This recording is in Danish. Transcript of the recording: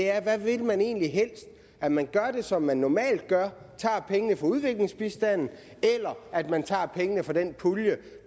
er hvad vil man egentlig helst at man gør det som man normalt gør tager pengene fra udviklingsbistanden eller at man tager pengene fra den pulje